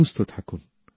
সুস্থ থাকুন